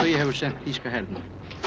hefur sent þýska hernum